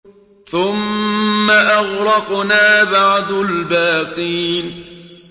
ثُمَّ أَغْرَقْنَا بَعْدُ الْبَاقِينَ